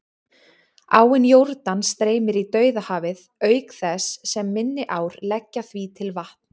Áin Jórdan streymir í Dauðahafið, auk þess sem minni ár leggja því til vatn.